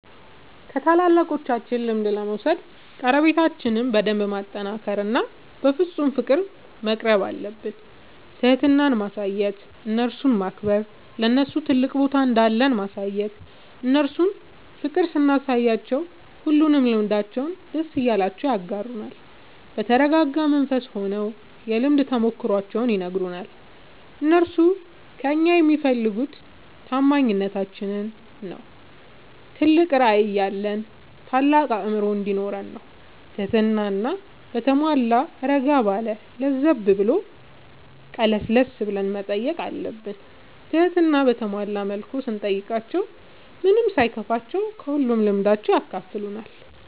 ከታላላቆቻችን ልምድ ለመውሰድ ቀረቤታችን በደንብ ማጠናከር እና በፍፁም ፍቅር መቅረብአለብን። ትህትና ማሳየት እነርሱን ማክበር ለነርሱ ትልቅ ቦታ እንዳለን ማሳየት እነርሱ ፍቅር ስናሳያቸው ሁሉንም ልምዳቸውን ደስ እያላቸው ያጋሩናል። በተረጋጋ መንፈስ ሆነው የልምድ ተሞክሯቸውን ይነግሩናል። እነርሱ ከእኛ የሚፈልጉ ታማኝነታችን ነው ትልቅ ራዕይ ያለን ታልቅ አእምሮ እንዲኖረን ነው ትህትና በተሟላ እረጋ ባለ ለዘብ ብሎ ቀለስለስ ብለን መጠየቅ አለብን ትህትና በተሞላ መልኩ ስንጠይቃቸው ምንም ሳይከፋቸው ከሁሉም ልምዳቸው ያካፍሉናል።